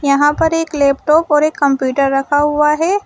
यहां पर एक लैपटॉप और एक कंप्यूटर रखा हुआ है।